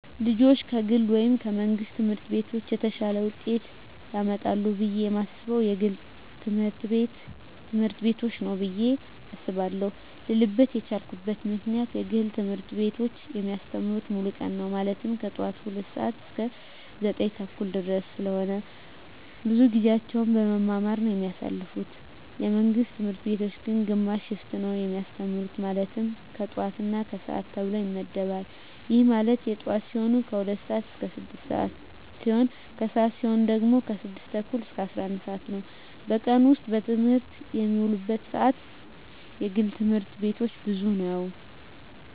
ልጆች ከግል ወይም ከመንግሥት ትምህርት ቤቶች የተሻለ ውጤት ያመጣሉ ብየ የማስበው የግል ትምህርት ቤቶችን ነው ብየ አስባለው ልልበት የቻልኩት ምክንያት የግል ትምህርት ቤቶች የሚያስተምሩት ሙሉ ቀን ነው ማለትም ከጠዋቱ 2:00 ሰዓት እስከ 9:30 ድረስ ስለሆነ ብዙውን ጊዜያቸውን በመማማር ነው የሚያሳልፉት የመንግስት ትምህርት ቤቶች ግን ግማሽ ሽፍት ነው የሚያስተምሩ ማለትም የጠዋት እና የከሰዓት ተብሎ ይመደባል ይህም ማለት የጠዋት ሲሆኑ 2:00 ስዓት እስከ 6:00 ሲሆን የከሰዓት ሲሆኑ ደግሞ 6:30 እስከ 11:00 ነው በቀን ውስጥ በትምህርት የሚውሉበት ሰዓት የግል ትምህርት ቤቶች ብዙ ነው።